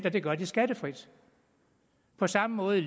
og det gør de skattefrit på samme måde